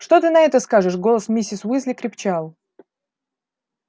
что ты на это скажешь голос миссис уизли крепчал